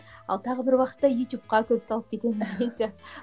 ал тағы бір уақытта ютубқа көп салып кетемін деген сияқты